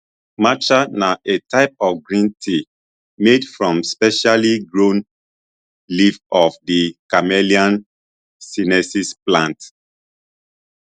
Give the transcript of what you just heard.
matcha na a type of green tea made from specially grown leaves of di camellia sinensis plant